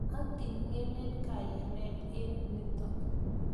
Ating'enen kayanet eng' nitok.